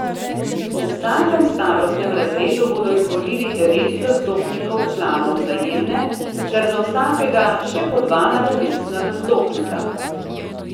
V vsakem starostnem razredu bodo izvolili devet zastopnikov članov Vzajemne ter za vsakega še po dva nadomestna zastopnika.